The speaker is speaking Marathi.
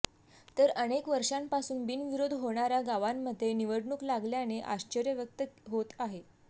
तर अनेक वर्षांपासून बिनविरोध होणाऱ्या गावांमध्ये निवडणूक लागल्याने आश्चर्य व्यक्त होत आहे